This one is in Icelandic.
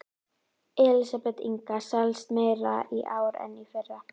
Ég reika meðal manna og finn hvergi athvarf, skilning, hlýju.